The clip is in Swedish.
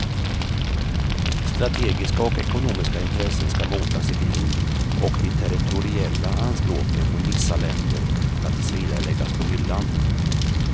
Strategiska och ekonomiska intressen skall motas i grind och de territoriella anspråken från vissa länder skall tills vidare läggas på hyllan.